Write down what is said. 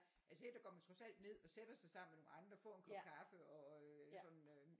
Altså her der går man trods alt ned og sætter sig sammen med nogle andre får en kop kaffe og øh sådan øh